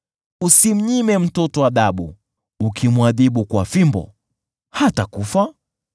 Usimnyime mtoto adhabu, ukimwadhibu kwa fimbo, hatakufa.